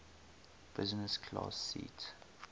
business class seat